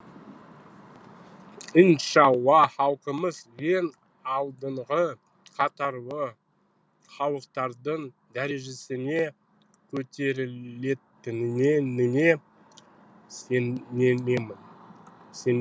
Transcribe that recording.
иншалла халқымыз ең алдыңғы қатарлы халықтардың дәрежесіне көтерілетініне сенемін